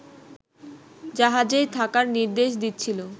জাহাজেই থাকার নির্দেশ দিচ্ছিল